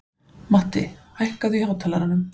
Matti, hækkaðu í hátalaranum.